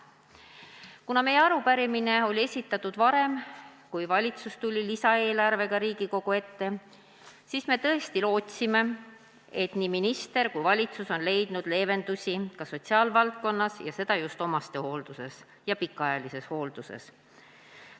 Kuna meie arupärimine oli esitatud varem, kui valitsus tuli lisaeelarvega Riigikogu ette, siis me tõesti lootsime, et minister ja kogu valitsus on leidnud leevendusi ka sotsiaalvaldkonnas, eelkõige omastehoolduses ja pikaajalises hoolduses.